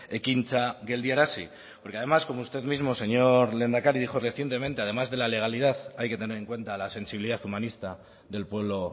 ekintza geldiarazi porque además como usted mismo señor lehendakari dijo recientemente además de la legalidad hay que tener en cuenta la sensibilidad humanista del pueblo